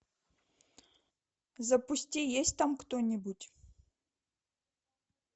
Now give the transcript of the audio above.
запусти есть там кто нибудь